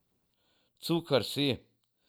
Cukr si.